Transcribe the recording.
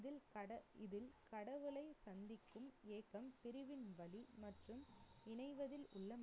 இதில் கட~ இதில் கடவுளை சந்திக்கும் ஏக்கம் பிரிவின் வலி மற்றும் இணைவதில் உள்ள